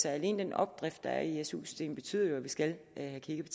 alene den opdrift der er i su systemet betyder jo at vi skal have kigget